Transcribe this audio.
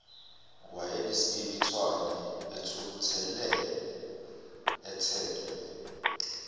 owayenesibibithwane ethukuthele ethelwe